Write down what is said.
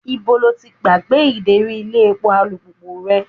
Ibo lo ti gbàgbé ideri ilé epo alùpùpù rẹ?